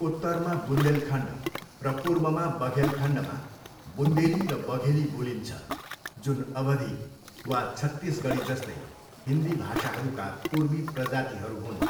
उत्तरमा बुन्देलखण्ड र पूर्वमा बघेलखण्डमा बुन्देली र बघेली बोलिन्छ, जुन अवधी वा छत्तीसगढीजस्तै हिन्दी भाषाहरूका पूर्वी प्रजातिहरू हुन्।